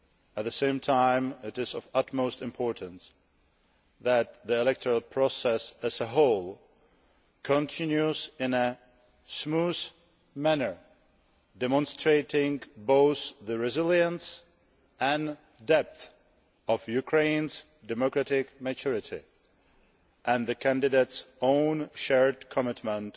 At the same time, it is of utmost importance that the electoral process as a whole continues in a smooth manner, demonstrating both the resilience and depth of Ukraine's democratic maturity and the candidates' own shared commitment